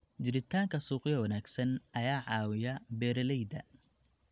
Jiritaanka suuqyo wanaagsan ayaa caawiya beeralayda.